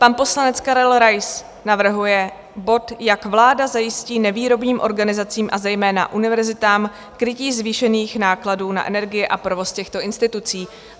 Pan poslanec Karel Rais navrhuje bod - Jak vláda zajistí nevýrobním organizacím a zejména univerzitám krytí zvýšených nákladů na energie a provoz těchto institucí?